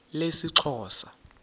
lesixhosa